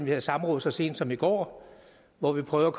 havde samråd så sent som i går hvor vi prøvede